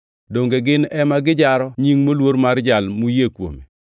Donge gin ema gijaro Nying moluor mar Jal muyie kuome?